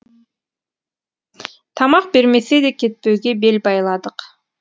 тамақ бермесе де кетпеуге бел байладық